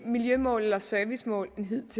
miljømål eller servicemål